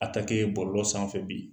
A ta ke bɔlɔ sanfɛ bi.